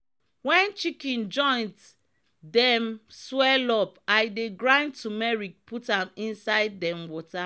wen chicken joint dem swell up i dey grind tumeric put am inside dem water.